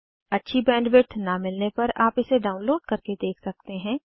अच्छी बैंडविड्थ न मिलने पर आप इसे डाउनलोड करके देख सकते हैं